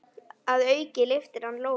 Að auki lyftir hann lóðum.